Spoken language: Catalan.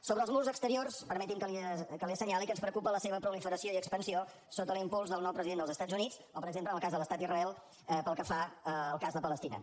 sobre els murs exteriors permeti’m que li assenyali que ens preocupa la seva proliferació i expansió sota l’impuls del nou president dels estats units o per exemple en el cas de l’estat d’israel pel que fa al cas de palestina